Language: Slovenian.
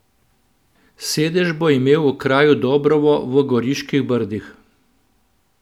Sedež bo imel v kraju Dobrovo v Goriških brdih.